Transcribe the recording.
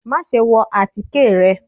Maṣe wọ atike rẹ!